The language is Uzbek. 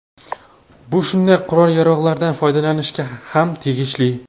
Bu shunday qurol-yarog‘lardan foydalanishga ham tegishli”.